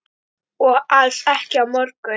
Og alls ekki á morgun.